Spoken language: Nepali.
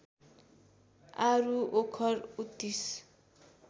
आरू ओखर उत्तिस